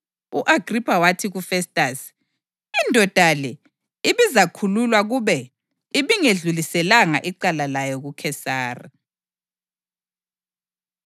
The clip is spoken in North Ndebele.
U-Agripha wathi kuFestasi, “Indoda le ibizakhululwa kube ibingedluliselanga icala layo kuKhesari.”